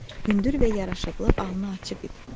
Hündür və yaraşıqlı alnı açıq idi.